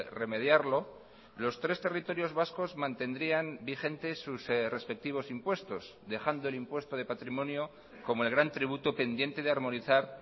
remediarlo los tres territorios vascos mantendrían vigentes sus respectivos impuestos dejando el impuesto de patrimonio como el gran tributo pendiente de armonizar